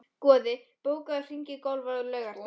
Goði, bókaðu hring í golf á laugardaginn.